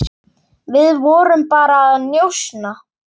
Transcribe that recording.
Við vorum bara að njósna,